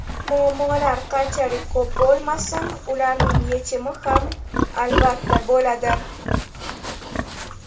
Muammolar qanchalik ko‘p bo‘lmasin, ularning yechimi ham, albatta, bo‘ladi.